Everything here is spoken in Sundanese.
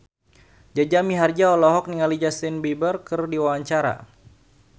Jaja Mihardja olohok ningali Justin Beiber keur diwawancara